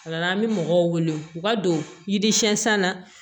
O la an bɛ mɔgɔw wele u ka don yiri siɲɛsan na